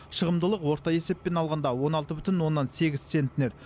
шығымдылық орта есеппен алғанда он алты бүтін оннан сегіз центнер